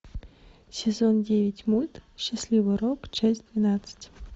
сезон девять мульт счастливый урок часть двенадцать